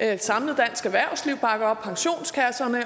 et samlet dansk erhvervsliv bakker op pensionskasserne